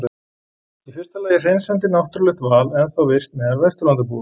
Í fyrsta lagi er hreinsandi náttúrulegt val ennþá virkt meðal Vesturlandabúa.